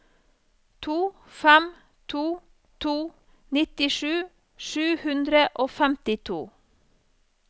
to fem to to nittisju sju hundre og femtito